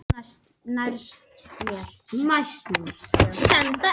Ég held að við getum náð árangri.